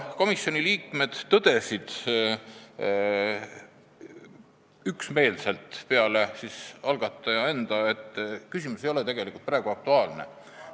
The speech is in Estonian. Komisjoni liikmed tõdesid üksmeelselt – peale algataja enda –, et küsimus ei ole tegelikult praegu aktuaalne.